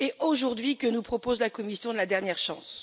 Aujourd'hui, que nous propose la Commission de la dernière chance?